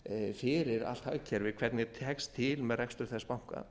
fyrir allt hagkerfið hvernig tekst til eð rekstur þess banka